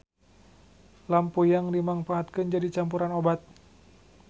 Lampuyang dimangpaatkeun jadi campuran obat.